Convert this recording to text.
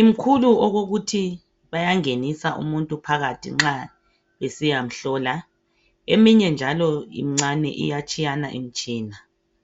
imkhulu okokuthi bayangenisa umuntu phakathi nxa besiya mhlola. Eminye njalo imncane, iyatshiyana imtshina.